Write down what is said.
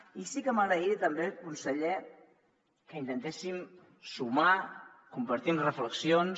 i sí que m’agradaria també conseller que intentéssim sumar compartint reflexions